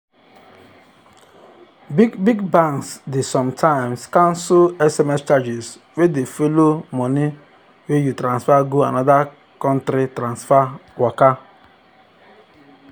big big banks dey sometimes cancel sms charges wey dey follow mone wey you transfer go another country transfer waka.